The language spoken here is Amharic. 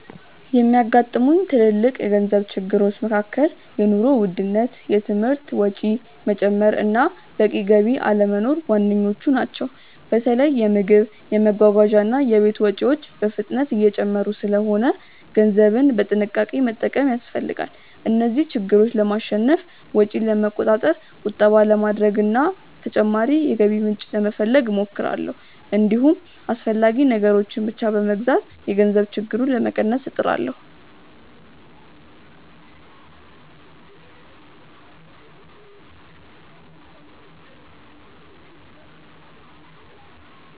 የሚያጋጥሙኝ ትልልቅ የገንዘብ ችግሮች መካከል የኑሮ ውድነት፣ የትምህርት ወጪ መጨመር እና በቂ ገቢ አለመኖር ዋነኞቹ ናቸው። በተለይ የምግብ፣ የመጓጓዣ እና የቤት ወጪዎች በፍጥነት እየጨመሩ ስለሆነ ገንዘብን በጥንቃቄ መጠቀም ያስፈልጋል። እነዚህን ችግሮች ለማሸነፍ ወጪን ለመቆጣጠር፣ ቁጠባ ለማድረግ እና ተጨማሪ የገቢ ምንጭ ለመፈለግ እሞክራለሁ። እንዲሁም አስፈላጊ ነገሮችን ብቻ በመግዛት የገንዘብ ችግሩን ለመቀነስ እጥራለሁ።